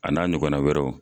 A n'a ɲɔgɔna wɛrɛw.